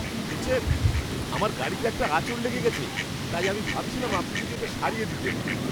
শুনছেন, আমার গাড়িতে একটা আঁচড় লেগে গেছে, তাই আমি ভাবছিলাম আপনি যদি এটা সারিয়ে দিতেন।